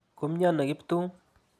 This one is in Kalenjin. Ko miano Kiptum?